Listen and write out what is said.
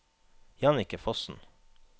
Jannicke Fossen